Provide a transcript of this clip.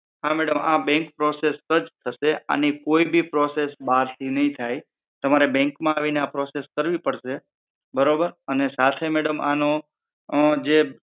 હા madam આ bank process જ થશે આની કોઈ બી process બારથી નહિ થાય, right, તમારે bank માં આવીને આ process કરવી પડશે બરોબર અને સાથે madam આનો જે